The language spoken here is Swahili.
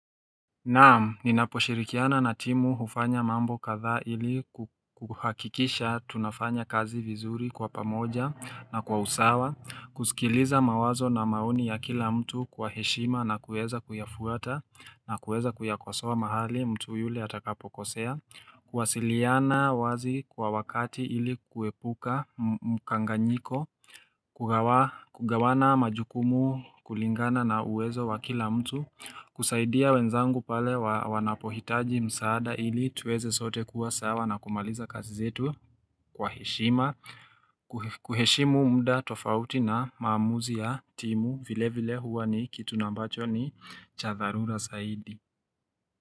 Naam, ninaposhirikiana na timu hufanya mambo kadhaa ili kuhakikisha tunafanya kazi vizuri kwa pamoja na kwa usawa, kuskiliza mawazo na mauni ya kila mtu kwa heshima na kueza kuyafuata na kueza kuyakosoa mahali mtu yule atakapo kosea, kuwasiliana wazi kwa wakati ili kuepuka mkanganyiko, kugawa Kugawana majukumu kulingana na uwezo wa kila mtu kusaidia wenzangu pale wawanapohitaji msaada ili tuweze sote kuwa sawa na kumaliza kazi zetu kwa heshima kuheshimu mda tofauti na maamuzi ya timu vile vile huwa ni kitu na ambacho ni cha dharura saidi.